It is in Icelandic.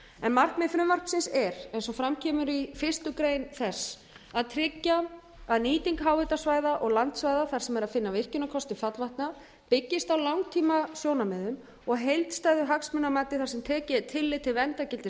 en markmið frumvarpsins er eins og fram kemur í fyrstu greinar þess að tryggja að nýting háhitasvæða og landsvæða þar sem er að finna virkjunarkosti fallvatna byggðist á langtímasjónarmiðum og heildstæðu hagsmunamati þar sem tekið er tillit til verndargildis